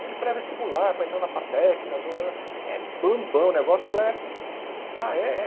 Aquele pré-vestibular, para entrar na Fatec, na Zo ãh ãh... É bambam, o negócio é... Ah, é? É